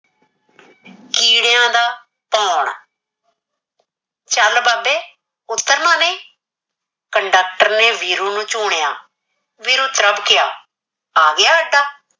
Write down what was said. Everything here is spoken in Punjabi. ਕੀੜਿਆਂ ਦਾ ਭੋਣ ਸ਼ਲ ਬੰਦੇ ਉਤਰਨਾ ਨੀ conductor ਨੇ ਵੀਰੂ ਨੂੰ ਝੁਨਯਾ । ਵੀਰੂ ਤਰਬਕਿਆ ਆ ਗਿਆ ਅੱਡਾ।